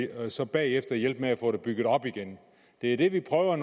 og så bagefter hjælpe med at få det bygget op igen det er det vi prøver